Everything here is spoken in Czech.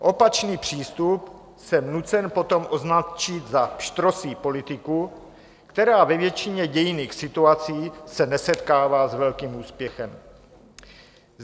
Opačný přístup jsem nucen potom označit za pštrosí politiku, která ve většině dějinných situací se nesetkává s velkým úspěchem.